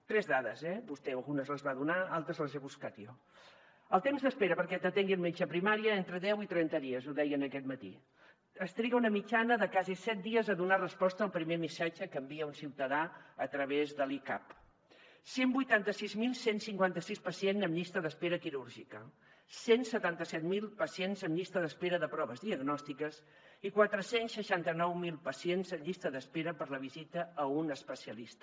tres dades eh vostè algunes les va donar altres les he buscat jo el temps d’espera perquè t’atengui el metge a primària entre deu i trenta dies ho deien aquest matí es triga una mitjana de quasi set dies a donar resposta al primer missatge que envia un ciutadà a través de l’e cap cent i vuitanta sis mil cent i cinquanta sis pacients en llista d’espera quirúrgica cent i setanta set mil pacients en llista d’espera de proves diagnòstiques i quatre cents i seixanta nou mil pacients en llista d’espera per a la visita a un especialista